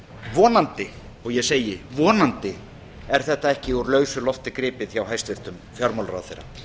vonandi og ég segi vonandi er þetta ekki úr lausu lofti gripið hjá hæstvirtum fjármálaráðherra